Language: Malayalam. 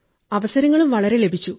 അവസരങ്ങളും വളരെയധികം ലഭിച്ചു